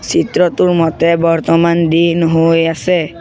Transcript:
চিত্ৰটোৰ মতে বৰ্তমান দিন হয় আছে।